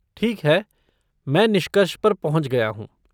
ठीक है, मैं निष्कर्ष पर पहुंच गया हूँ।